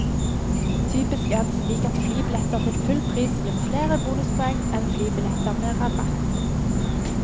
Typisk er det slik at flybilletter til full pris gir flere bonuspoeng enn flybilletter med rabatt.